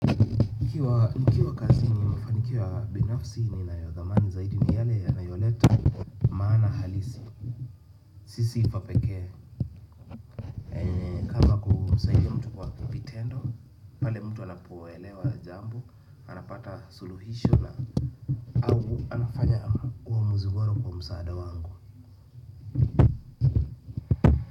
Nikiwa kazini mafanikio ya binafsi ninayodhamani zaidi ni yale yanayo leta maana halisi. Sio sifa pekee. Kama kusaidia mtu kwa vitendo, pale mtu anapoelewa jambo, anapata suluhisho na au anafanya uamuzi uamuzi bora kwa msaada wangu.